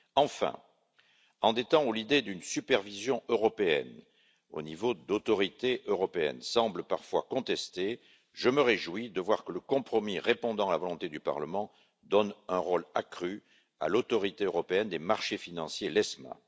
Enfin, alors que l'idée d'une supervision européenne, au niveau d'une autorité européenne, semble parfois contestée, je me réjouis de voir que le compromis répondant à la volonté du Parlement donne un rôle accru à l'Autorité européenne des marchés financiers, l'ESMA.